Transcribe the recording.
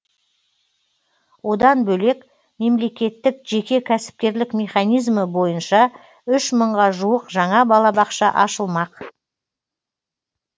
одан бөлек мемлекеттік жеке кәсіпкерлік механизмі бойынша үш мыңға жуық жаңа балабақша ашылмық